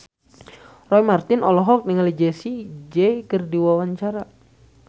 Roy Marten olohok ningali Jessie J keur diwawancara